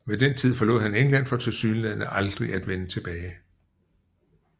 Ved den tid forlod han England for tilsyneladende aldrig at vende tilbage